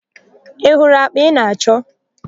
I hụrụ àkpà ị na-achọ?